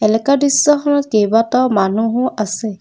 এলেকা দৃশ্যখনত কেইবাটাও মানুহো আছে।